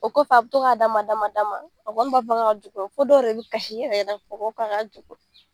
O kɔfɛ a bɛ to ka d'a ma d'a ma d'a ma o kɔni b'a fɔ k'a ka jugu, fo dɔw yɛrɛ bɛ kasi yɛrɛ yɛrɛ k'a fɔ k'a ka jugu